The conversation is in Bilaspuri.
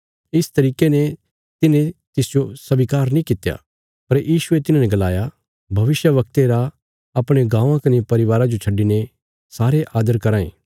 इस तरिके ने तिन्हे तिसजो स्वीकार नीं कित्या पर यीशुये तिन्हाने गलाया भविष्यवक्ते रा अपणे गाँवां कने परिवारा जो छड्डिने सारे आदर कराँ ये